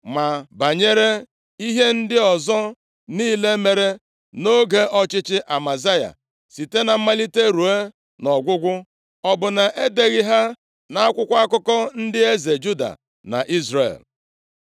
Ma banyere ihe ndị ọzọ niile mere nʼoge ọchịchị Amazaya, site na mmalite ruo ọgwụgwụ, ọ bụ na e deghị ha nʼakwụkwọ akụkọ ndị eze Juda na Izrel?